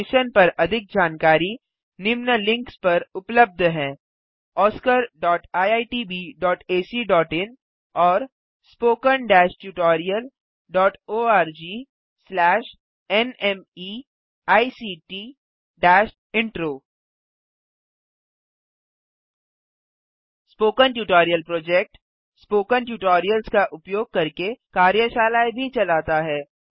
इस मिशन पर अधिक जानकारी निम्न लिंक पर उपलब्ध है oscariitbacइन और httpspoken tutorialorgNMEICT Intro spoken tutorial project spoken tutorials का उपयोग करके कार्यशालाएँ भी चलाता है